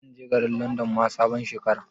Zan je Garin Landon ma sabon Shekara